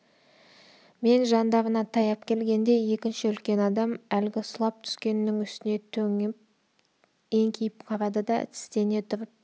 мен жандарына таяп келгенде екінші үлкен адам әлгі сұлап түскеннің үстіне төніп еңкейіп қарады да тістене тұрып